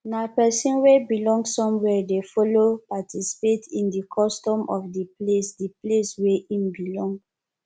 na persin wey belong somewhere de follow participate in di custom of di place di place wey im belong